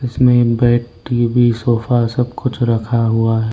इसमें bed TV sofa सब कुछ रखा हुआ है।